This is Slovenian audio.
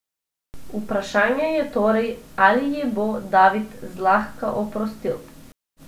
Vprašanje je torej, ali ji bo David zlahka oprostil.